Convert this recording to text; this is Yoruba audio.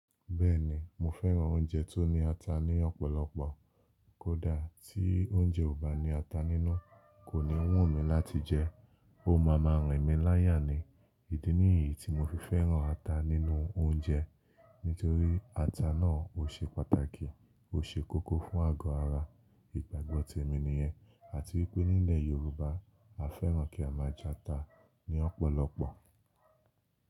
Bẹ́ẹ̀ni, mo fẹ́ràn oúnjẹ tó ní ata ní ọ̀pọ̀lọpọ̀. Kódà tí oúnjẹ ò bá ní ata nínú, kò ní wù mí láti jẹ ẹ́. Ó máa máa rìn mí láyà ni. Ìdí nìyí tí mo fi fẹ́ràn ata nínú oúnjẹ. Nítorí ata náà ò ṣe pàtàkì, ó ṣe kókó fún àgọ́ ara, ìgbàgbọ́ ti èmi ni yẹn. Àti wípé nílẹ̀ Yorùbá, a fẹ́ràn kí a máa jata ní ọ̀pọ̀lọpọ̀.